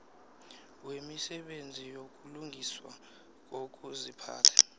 wemisebenzi yokulungiswa kokuziphatha